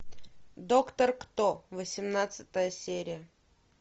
доктор кто восемнадцатая серия